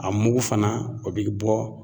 A mugu fana o bɛ bɔ